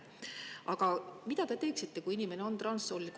Aga mida teie teeksite, kui inimene on transsooline?